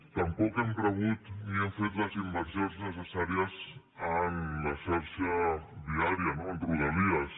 tampoc hem rebut ni han fet les inversions necessàries en la xarxa viària no a rodalies